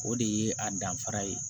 O de ye a danfara ye